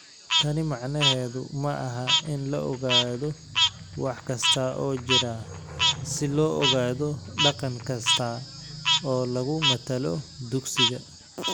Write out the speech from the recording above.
Tani macnaheedu maaha in la ogaado wax kasta oo jira si loo ogaado dhaqan kasta oo lagu matalo dugsiga.